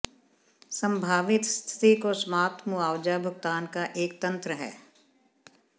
संभावित स्थिति को समाप्त मुआवजा भुगतान का एक तंत्र है